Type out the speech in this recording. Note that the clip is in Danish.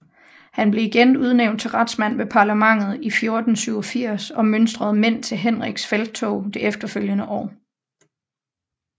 Han blev igen udnævnt til retsmand ved parlamentet i 1487 og mønstrede mænd til Henriks felttog det efterfølgende år